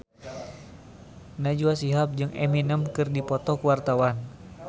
Najwa Shihab jeung Eminem keur dipoto ku wartawan